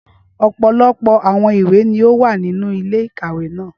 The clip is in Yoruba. Ọpọlọpọ awọn iwe ni o wa ninu ile-ikawe naa